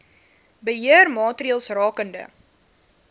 beheer maatreëls rakende